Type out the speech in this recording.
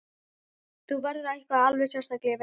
Þetta verður eitthvað alveg sérstakt, ég veit það.